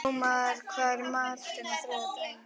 Þrúðmar, hvað er í matinn á þriðjudaginn?